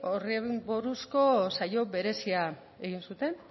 horri buruzko saio berezia egin zuten